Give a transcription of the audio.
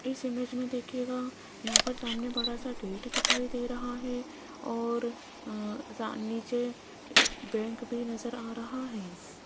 इस इमेज में दिखेगा यहां पर सामने बड़ा सा गेट दिखाई दे रहा है और नीचे बैंक भी नजर आ रहा है।